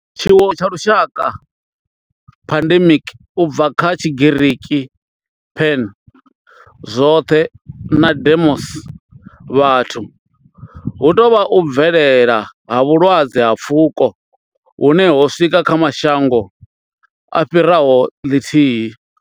Tshiwo tsha lushaka pandemic, u bva kha Tshigiriki pan, zwoṱhe na demos, vhathu hu tou vha u bvelela ha vhulwadze ha pfuko hune ho swika kha mashango a fhiraho ḽithihi.